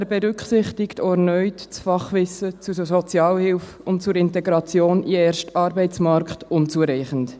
Er berücksichtigt auch erneut das Fachwissen zur Sozialhilfe und zur Integration in den ersten Arbeitsmarkt unzureichend.